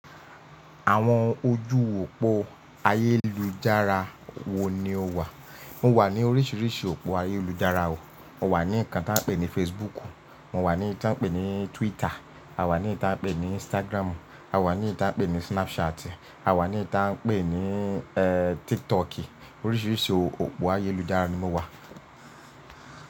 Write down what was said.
Àwọn ojú òpó ayélujára wo ni o wà? Mo wà ní oríṣiríṣi òpó ayélujára o. Mo wà ní nkán tí a ń pè ní Facebook, mo wà ní èyí tí a ń pè ní Twitter, a wà ní tí a ń pè ní Instagram, a wà ní tí a ń pè ní Snapchat, a wà ní tí a ń pè ní eh TikTok, oríṣiríṣi òpó ayélujára ni mo wà.